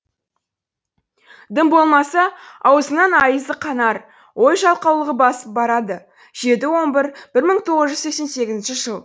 дым болмаса аузыңнаң айызы қанар ой жалқаулығы басып барады жеті он бір бір мың тоғыз жүз сексен сегізінші жыл